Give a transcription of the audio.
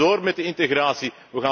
Wij gaan door met de integratie.